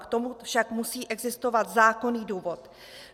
K tomu však musí existovat zákonný důvod.